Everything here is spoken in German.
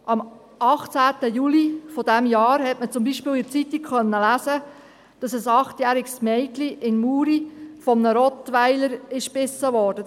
Am 18. Juli dieses Jahres konnte man beispielsweise in der Zeitung lesen, dass ein achtjähriges Mädchen in Muri von einem Rottweiler gebissen wurde.